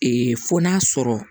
fo n'a sɔrɔ